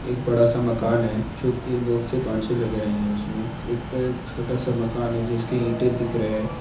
एक बड़ा सा मकान है जो की बहुत से कांचे लग रहे है एक छोटा सा मकान है जिसके ईंटे दिख रहे है।